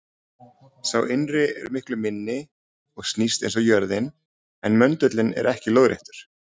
Sá innri er miklu minni og snýst eins og jörðin, en möndullinn er ekki lóðréttur.